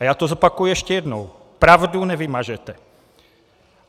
A já to zopakuji ještě jednou: Pravdu nevymažete!